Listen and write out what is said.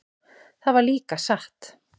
Það var líka satt.